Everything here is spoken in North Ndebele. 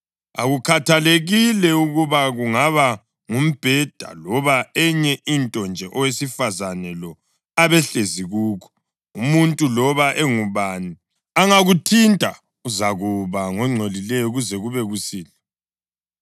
Akukhathalekile ukuba kungaba ngumbheda loba enye into nje owesifazane lo abehlezi kukho, umuntu loba engubani angakuthinta, uzakuba ngongcolileyo kuze kube kusihlwa.